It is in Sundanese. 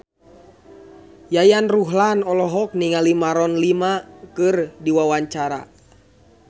Yayan Ruhlan olohok ningali Maroon 5 keur diwawancara